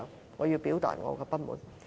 我對此要表達我的不滿。